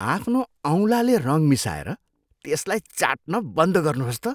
आफ्नो औँलाले रङ मिसाएर त्यसलाई चाट्न बन्द गर्नुहोस् त।